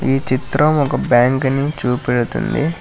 ఈ చిత్రం ఒక బ్యాంకుని చూపెడుతుంది.